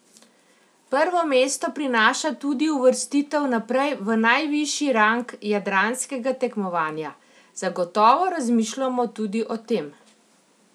Prvo mesto prinaša tudi uvrstitev naprej v najvišji rang jadranskega tekmovanja: "Zagotovo razmišljamo tudi o tem.